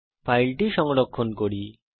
এখন ফাইলটি সংরক্ষণ করি